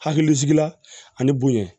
Hakilisigila ani bonya